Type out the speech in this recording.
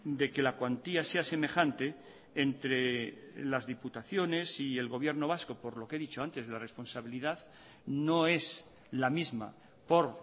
de que la cuantía sea semejante entre las diputaciones y el gobierno vasco por lo que he dicho antes la responsabilidad no es la misma por